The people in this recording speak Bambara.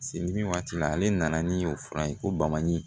Seli waati la ale nana ni o fura ye ko baman ye